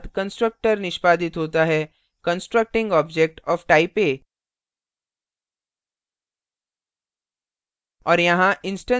केवल उसके बाद constructor निष्पादित होता है constructing object of type a